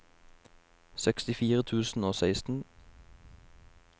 sekstifire tusen og seksten